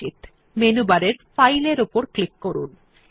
এই ফাইলটি সেভ করার জন্য মেনু বারে ফাইল এর উপর ক্লিক করুন